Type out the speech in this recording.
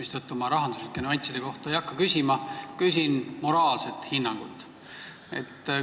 Seetõttu ma ei hakka rahanduslike nüansside kohta küsima, küsin moraalset hinnangut.